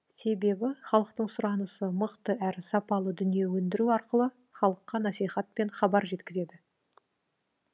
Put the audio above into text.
себебі халықтың сұранысы мықты әрі сапалы дүние өндіру арқылы халыққа насихат пен хабар жеткізеді